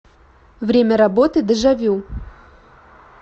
время работы дежавю